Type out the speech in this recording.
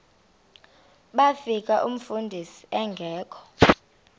bafika umfundisi engekho